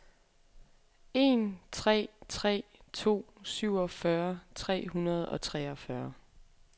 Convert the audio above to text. en tre tre to syvogfyrre tre hundrede og treogfyrre